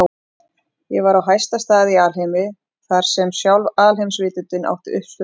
Ég var á hæsta stað í alheimi, þar sem sjálf alheimsvitundin átti uppsprettu sína.